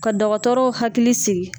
Ka dɔgɔtɔrɔw hakili sigi